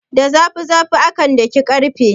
Da zafi zafi akan daki ƙarfe.